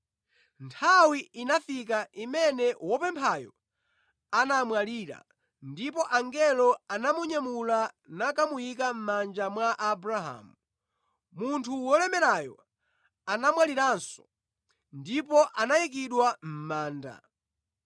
“Nthawi inafika imene wopemphayo anamwalira ndipo angelo anamunyamula nakamuyika mʼmanja mwa Abrahamu. Munthu wolemerayo anamwaliranso ndipo anayikidwa mʼmanda.